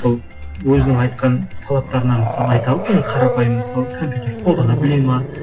ол өзінің айтқан талаптарына мысал айта алды ма қарапайым мысалы компьютерді қолдана біледі ме